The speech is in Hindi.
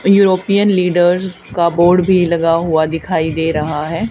यूरोपीयन लीडर का बोर्ड भी लगा हुआ दिखाई दे रहा है।